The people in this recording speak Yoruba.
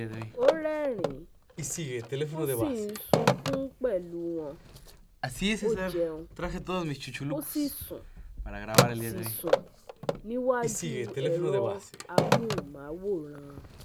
Ó rẹ́rìn-ín ó sì ń sunkún pẹ̀lú wọn, ó jẹun, ó sì sùn sì sùn níwájú ẹ̀rọ amóhùnmáwòrán